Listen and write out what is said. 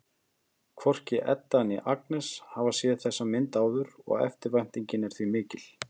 Hvorki Edda né Agnes hafa séð þessa mynd áður og eftirvæntingin er því mikill.